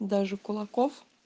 даже кулаков